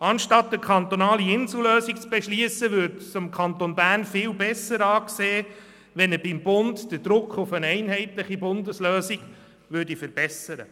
Anstatt eine kantonale Insellösung zu beschliessen, würde es dem Kanton Bern besser anstehen, beim Bund den Druck hinsichtlich einer einheitlichen Lösung zu verstärken.